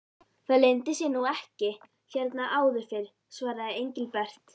Það leyndi sér nú ekki hérna áður fyrr svaraði Engilbert.